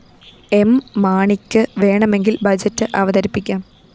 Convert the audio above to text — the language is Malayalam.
എം മാണിക്ക് വേണമെങ്കില്‍ ബഡ്ജറ്റ്‌ അവതരിപ്പിക്കാം